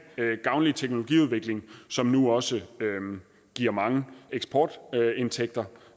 gavnlig teknologiudvikling som nu også giver mange eksportindtægter